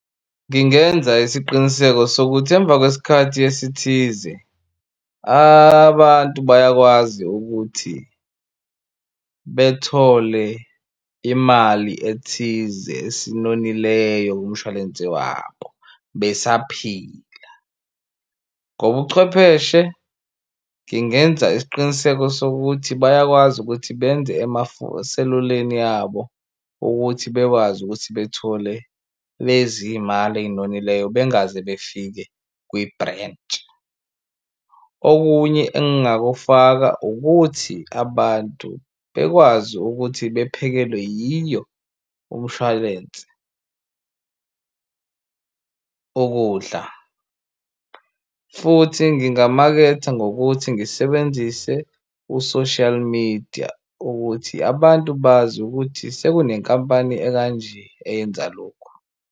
Ngingenza isiqiniseko sokuthi emva kweskhathi esithize abantu bayakwazi ukuthi bethole imali ethize esinonileyo kumshwalense wabo besaphila. Ngobuchwepheshe ngingenza isiqiniseko sokuthi bayakwazi ukuthi benze seluleni abo ukuthi bekwazi ukuthi bethole lezi mali ey'nonileyo bengaze befike kwibrentshi. Okunye engingakufaka ukuthi abantu bekwazi ukuthi bephekelwe yiyo umshwalense ukudla futhi ngingamaketha ngokuthi ngisebenzise u-social media ukuthi abantu bazi ukuthi sekunenkampani ekanje eyenza lokhu.